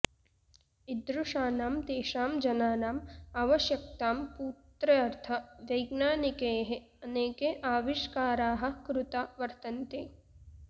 ईदृशानां तेषां जनानाम् आवश्यकतां पूत्र्यर्थ वैज्ञानिकैः अनेके आविष्काराः कृता वर्तन्ते